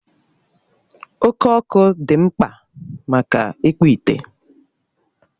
Oke Ọkụ dị mkpa maka ịkpụ ite.